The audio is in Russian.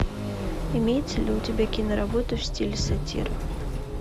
имеется ли у тебя киноработа в стиле сатира